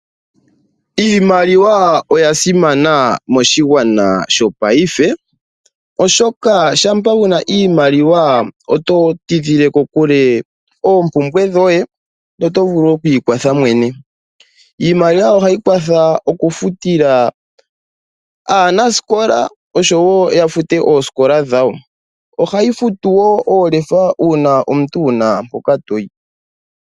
Iimaliwa oyasimana moshigwana shongashingeyi oshoka shampa wuna iimaliwa oto tidhile kokule oompumbwe dhoye na otovulu oku ikwatha ngoye mwene. Iimaliwa ohayi kwatha oku futila aanasikola oshowo yafute oosikola dhawo, ohayi futu woo oolefa uuna omuntu wuna mpoka toyi .